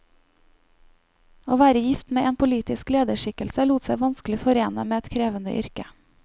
Å være gift med en politisk lederskikkelse lot seg vanskelig forene med et krevende yrke.